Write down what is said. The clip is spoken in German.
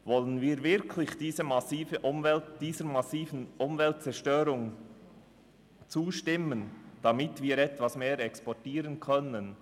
Wollen wir dieser massiven Umweltzerstörung wirklich zustimmen, damit wir etwas mehr exportieren können?